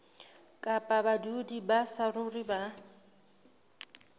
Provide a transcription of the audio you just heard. kapa badudi ba saruri ba